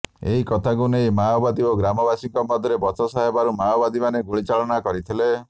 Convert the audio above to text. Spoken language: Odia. ଏହି କଥାକୁ ନେଇ ମାଓବାଦୀ ଓ ଗ୍ରାମବାସୀଙ୍କ ମଧ୍ୟରେ ବଚସା ହେବାରୁ ମାଓବାଦୀମାନେ ଗୁଳିଚାଳନା କରିଥିଲେ